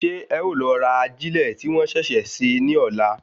Ṣé ẹ o lọ ra ajilẹ ti wọn ṣẹṣẹ ṣe ní ọlá?